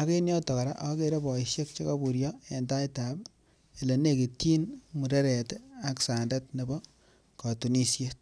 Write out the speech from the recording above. ak en yoton koraa ogere boishek che koburyo en elenekityin ak sandet nebo kotunishet